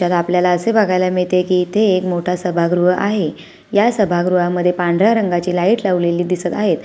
आपल्याला असे बघायला मिळते की इथे मोठा सभागृह आहे या सभागृहात पांढऱ्या रंगांचे लाईट लावलेली दिसत आहेत.